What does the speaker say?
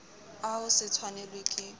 a ho se tshwanelwe ke